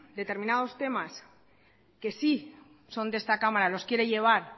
determinados temas que sí son de esta cámara los quiere llevar